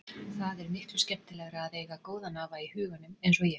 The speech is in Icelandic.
Það er miklu skemmtilegra að eiga góðan afa í huganum eins og ég.